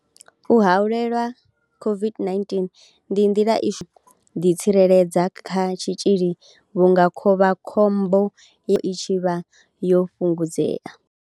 U haelelwa COVID-19 ndi nḓila i shumaho u itela u ḓitsireledza kha tshitzhili vhunga khovha khombo ya u kavhiwa havho i tshi vha yo fhungudzea.